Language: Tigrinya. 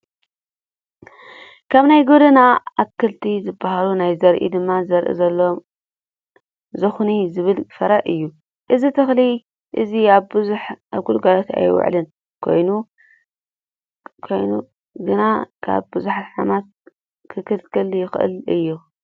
ካብ ናይ ገደና ኣትኽልቲ ዝበሃሉ ናይ ዘርኢ ድማ ዘርኢ ዘለዎ ዝኹኒ ዝበሃል ፍር እዩ። እዚተኽሊ እዚ ብዙሕ ኣብ ግልጋሎት ኣይውዕልን ፤ ኮይኑ ግና ካብ ብዙሓት ሕማማት ክልከል ዝክእል እዩ።